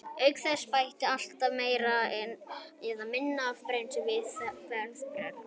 Auk þess bætist alltaf meira eða minna af brennisteini við hið veðraða berg.